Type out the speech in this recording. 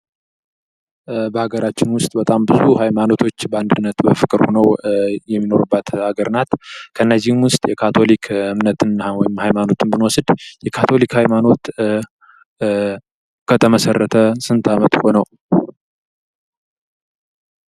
በሀገራችን ውስጥ በጣም ብዙ ሀይማኖቶች በአንድነት በፍቅር ሁነው የሚኖሩባት ሀገር ናት ። ከእነዚህም ውስጥ የካቶሊክ እምነት ወይም ሀይማኖትን ብንወስድ የካቶሊክ ሀይማኖት ከተመሰረተ ስንት አመት ሆነው?